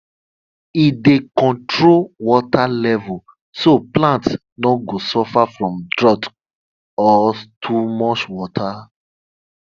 e dey control water level so plants no go suffer from drought or too much water